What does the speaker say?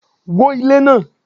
wó ilé náà!